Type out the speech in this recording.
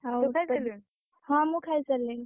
ଆଉ ହଁ ମୁଁ ଖାଇସାରିଲିଣି।